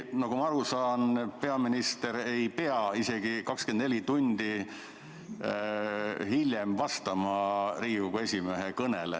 Nagu ma aru saan, peaminister ei pea isegi 24 tundi hiljem vastama Riigikogu esimehe kõnele.